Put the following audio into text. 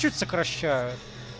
чуть сокращают